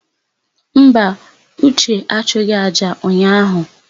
Mba, Uche achụghị àjà ụnyaahụ.